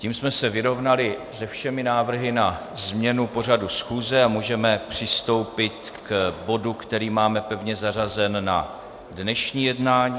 Tím jsme se vyrovnali se všemi návrhy na změnu pořadu schůze a můžeme přistoupit k bodu, který máme pevně zařazen na dnešní jednání.